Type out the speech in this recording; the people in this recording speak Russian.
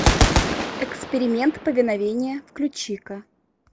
эксперимент повиновение включи ка